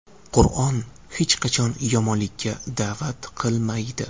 Qur’on hech qachon yomonlikka da’vat qilmaydi.